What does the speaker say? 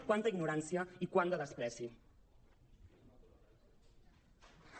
quanta ignorància i quant de menyspreu